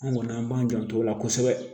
An kɔni an b'an janto o la kosɛbɛ